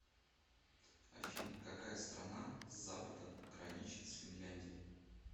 афина какая страна с запада граничит с финляндией